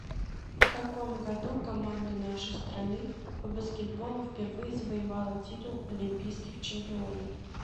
в каком году команда нашей страны по баскетболу впервые завоевала титул олимпийских чемпионов